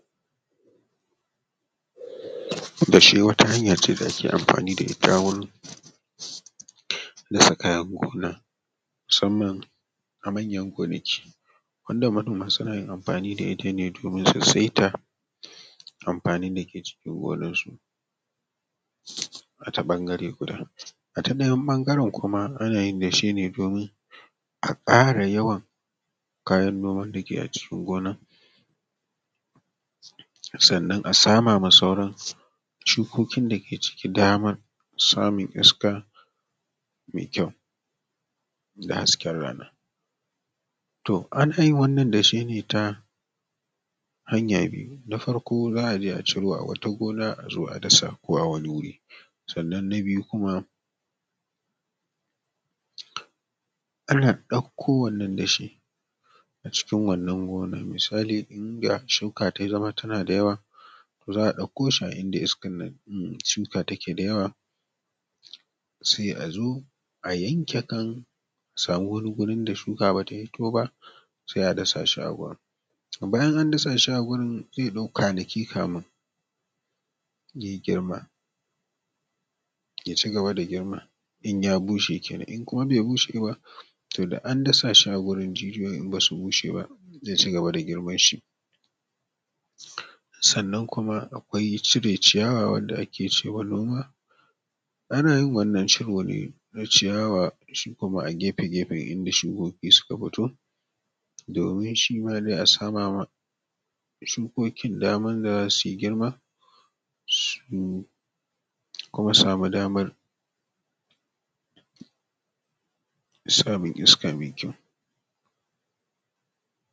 Dashe wata hanya ce da ake amfani da ita wurin dasa kayan gona musamman a manya gonaki wanda manoma suna yin amfani da ita ne domin su saita amfanin dake cikin gonar su, a ta bangare guda, a ta ɗayan bangaren kuma ana yin dashe ne domin a kara yawan kayan noman dake a cikin gona, sannan a sama masa wurin shukokin dake ciki daman samun iska mai kyau da hasken rana, to ana yin wannan dashen ne ta hanya biyu, na farko za’a je a ciro a wata gona a zo a dasa ko a wani wuri, sannan na biyu kuma, ana ɗauko wannan dashe a cikin wannan gonan misali inda shuka ta zama tana da yawa to za’a ɗauko shi a inda iskan nan shuka take da yawa sai a zo a yanke kan, a samu wani gurin da shuka bata hito ba sai a dasa shi a gurin, bayan an dasa shi a gurin zai ɗau kwanaki kamin ya girma ya cigaba da girma in ya bushe kenan in kuma bai bushe ba, to da an dasa shi a gurin jijiyoyin in basu bushe ba zai cigaba da girman shi, sannan kuma akwai cire ciyawa wanda ake ce ma noma, ana yin wannan ciro ne na ciyawa shi kuma a gefe-gefe inda shukoki suka fito domin shima dai a samawa shukokin daman da za sui girma su kuma samu damar samun iska mai kyau.